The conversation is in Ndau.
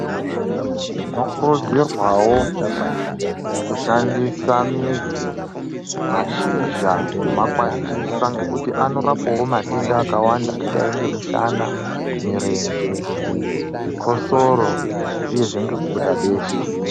Tinokurudzirwawo kushandisa midzi mashizha kumakwatida nekuti anorapawo matenda akawanda murenje chikosoro uyezve nekubuda besha.